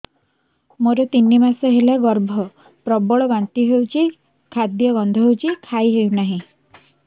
ମୋର ତିନି ମାସ ହେଲା ଗର୍ଭ ପ୍ରବଳ ବାନ୍ତି ହଉଚି ଖାଦ୍ୟ ଗନ୍ଧ ହଉଚି କିଛି ଖାଇ ହଉନାହିଁ